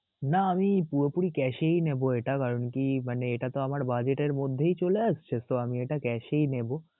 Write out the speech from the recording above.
না আমি পুরোপুরি cash এই নিবো এটা, কারণ কি মানে এটা তো আমার বাজেটের মধ্যেই চলে আসছে so আমি এটা cash এই নিবো.